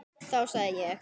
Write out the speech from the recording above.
Þá segði ég: